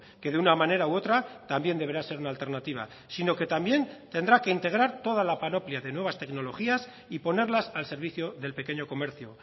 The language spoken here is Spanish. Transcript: que de una manera u otra también deberá ser una alternativa sino que también tendrá que integrar toda la panoplia de nuevas tecnologías y ponerlas al servicio del pequeño comercio